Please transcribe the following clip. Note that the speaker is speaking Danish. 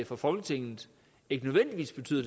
fra folketinget ikke nødvendigvis betyder